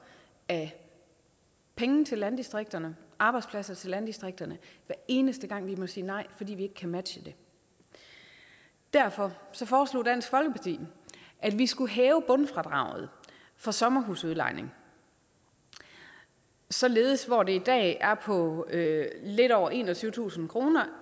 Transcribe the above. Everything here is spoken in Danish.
af penge til landdistrikterne arbejdspladser til landdistrikterne hver eneste gang vi må sige nej fordi vi ikke kan matche det derfor foreslog dansk folkeparti at vi skulle hæve bundfradraget for sommerhusudlejning således hvor det i dag er på lidt over enogtyvetusind kroner